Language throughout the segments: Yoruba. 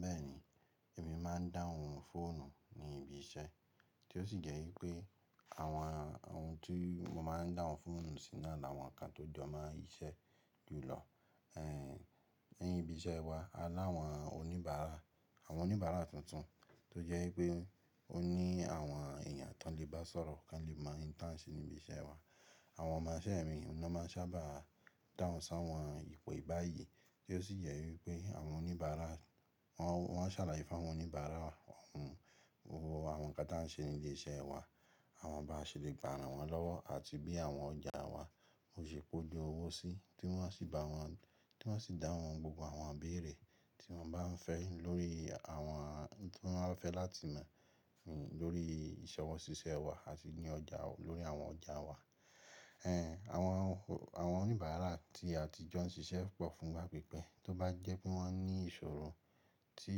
Bẹ́ẹ̀ni, èmi máa ń dáhùn fóònù ní ibi iṣẹ́, tí ó sì jẹ́ wípé àwọn ohun tí mo máa ń dáhùn fóònù sí náà làwọn nǹkan tó jọ mọ́ iṣẹ́ jùlọ. Ní bi iṣẹ́ wa, a láwọn oníbàárà, àwọn oníbàárà tuntun tó jẹ́ wípé ó ní àwọn ẹ̀yàn tó lè bá sọ̀rọ̀, kó lè mọ ń tàn ṣe níbi iṣẹ́ wa. Àwọn ọmọ iṣẹ́ mi ni wọ́n máa ń sábà dáhùn sáwọn ìpè ìbáyìí, tí ó sì jẹ́ wípé àwọn oníbàárà wọ́n, wọ́n ṣàlàyé fún àwọn oníbàárà ohun gbogbo àwọn nǹkan tí wọ́n ṣe ní ilé iṣẹ́ wa, àmọn ba ṣe lè gbà ràn won lọ́wọ́ àti bí àwọn ọjà wa ò ṣe kó lè owó sí, tí wọ́n sì bá wọn, tí wọ́n sì dáhùn gbogbo àwọn ìbéèrè tí wọ́n bá ń fẹ́ lórí àwọn ohun tí wọ́n fẹ́ láti mọ̀ lórí ìṣọwọ́ ṣíṣẹ́ wa àti ní ọjà lórí àwọn ọjà wa. Àwọn ò, àwọn oníbàárà tí a ti jọ ń ṣiṣẹ́ pọ̀ fún igba pípẹ́ tó bá jẹ́ pé wọ́n ní ìṣòro tí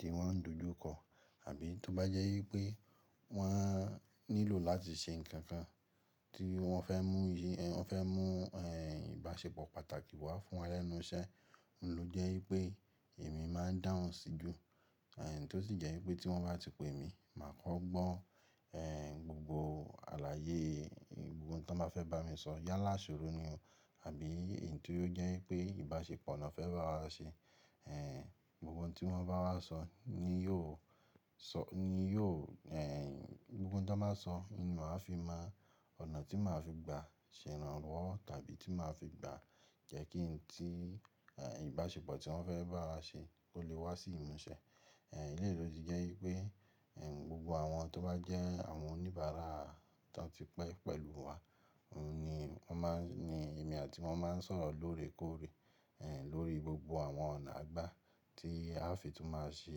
tí wọ́n ń dojú kọ, àbí tó bá jẹ́ ípé wọ́n nílò láti ṣe nǹkan kan tí wọ́n fẹ́ mú iye, wọ́n fẹ́ mú ìbáṣepọ̀ pàtàkì wá fún wa lẹ́nu iṣẹ́, òun ló jẹ́ ípé èmi máa ń dáhùn sí i jù. Tí ó sì jẹ́ ípé tí wọ́n bá ti pe mi, màá kọ́ gbọ́ gbogbo àlàyé, gbogbo ohun tí wọ́n bá fẹ́ bá mi sọ yálà ìṣòro ni o, àbí èyí tí ó jẹ́ pé ìbáṣepọ̀ náà fẹ́ bá wa ṣe. Gbogbo ohun tí wọ́n bá wá sọ ni yóò sọ̀, ni yóò gbogbo ohun tó bá sọ ni màá fi mọ ọ̀nà tí màá fi gba ṣẹ̀ránwọ́ tàbí tí màá fi gba jẹ́ kí ohun tí ìbáṣepọ̀ tí wọ́n fẹ́ bá wa ṣe kó lè wá sí ìmúṣẹ. Eleyi ló ti jẹ́ wípé gbogbo àwọn tó bá jẹ́ àwọn oníbàárà tan ti pẹ́ pẹ̀lú wa, òun ni wọ́n má ń, ni èmi àti wọn máa ń sọ̀rọ̀ lóòrèkóòrè lórí gbogbo àwọn ọ̀nà à gbà tí a lè fi tún máa ṣe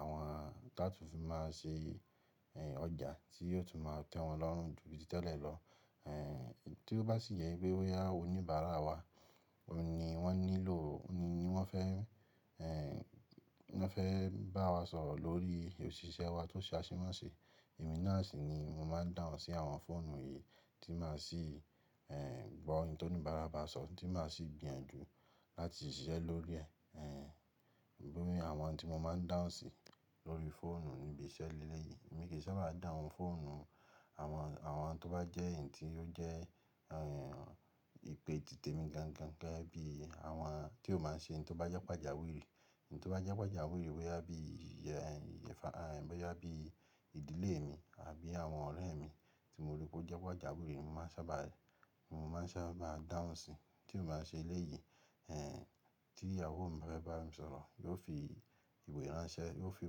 àwọn, tí a tun fi máa ṣe ọjà tí yóò tún máa tẹ́ wọn lọ́rùn ju bí tẹ́lẹ̀ lọ. Tí ó bá sì yẹ pé wípé boya oníbàárà wa òun ni wọ́n nílò, òun ni wọ́n fẹ́ wọ́n fẹ́ bá wa sọ̀rọ̀ lórí ìṣísẹ́ wa tó sase mọse. Emí nàá sì ni mo máa ń dáhùn sí àwọn fóònù yìí tí màá sì gbọ́ ohun tí oníbàárà bá sọ, tí màá sì gbìyànjú láti ṣiṣẹ́ lórí ẹ̀. Lórí àwọn ohun tí mo máa ń dáhùn sí lórí fóònù níbi iṣẹ́ lele yìí, èmi kì í sábà dáhùn fóònù àwọn, àwọn tó bá jẹ́ èyí tí ó jẹ́ ìpè ti temi gangan gẹ́gẹ́ bí àwọn tí ò máa ṣe n to bá jẹ́ pàjáwìrì. N to bá jẹ́ pàjáwìrì boya bí i ẹ, boya bí i ìdílé mi àbí àwọn ọ̀rẹ́ mi tí mo rí pé ó jẹ́ pàjáwìrì, mo máa ń sábà, mo máa ń sábà dáhùn síi. Tí ò bá ṣe eleyi tí ìyàwó mi bá fẹ́ bá mi sọ̀rọ̀, yóò fi ìwé ránṣẹ́, yóò fi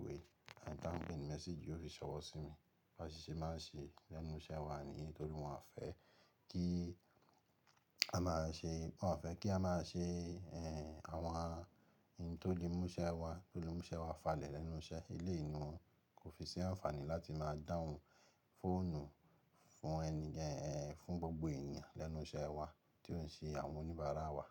ìwé tanpe ni message yóò fi ṣọwọ́ sí mi. Bá si ṣé máa ń ṣe lẹ́nu iṣẹ́ wa niyí tori wọ́n fẹ́ kí a máa ṣe, wọ́n fẹ́ kí a máa ṣe àwọn n to lé mú iṣẹ́ wa, tó lé mú iṣẹ́ wa falẹ̀ lẹ́nu iṣẹ́. Eleyi ni kò fi sí àǹfààní láti máa dáhùn fóònù fún ẹni fún gbogbo èèyàn lẹ́nu iṣẹ́ wa tí ó ń ṣe àwọn oníbàárà wa.